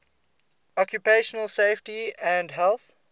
occupational safety and health